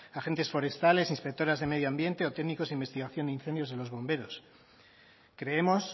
agentes forestales inspectoras de medio ambiente o técnicos de investigación de incendios en los bomberos creemos